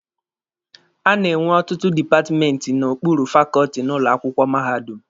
A na-enwe ọtụtụ dipatmenti n'okpuru fakọọtị n'ụlọ akwụkwọ mahadum.